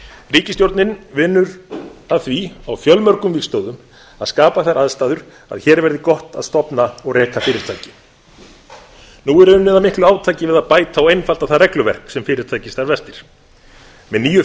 ríkisstjórnin vinnur að því á fjölmörgum vígstöðvum að skapa þær aðstæður að hér verði gott að stofna og reka fyrirtæki nú er unnið að miklu átaki við að bæta og einfalda það regluverk sem fyrirtæki starfa eftir með nýju